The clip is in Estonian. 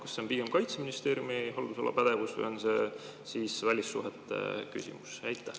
Kas see on pigem Kaitseministeeriumi haldusala pädevus või on see välissuhete küsimus?